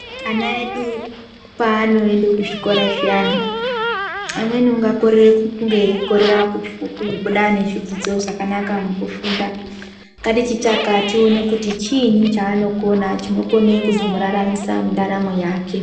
Ana edu paanoende kuzvikora zviyani pamweni ungakorere kunge eikorera kufu kubuda nezvidzidzo zvakanaka mukufunda ngatichitsvaka tione kuti chiinyi chaaonokona chinokone kuzomuraramisa mundaramo yake.